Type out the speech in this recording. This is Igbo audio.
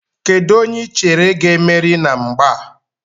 Kedụ onye I chere ga-emeri na mgba a?